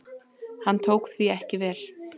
Hann tók því ekki vel.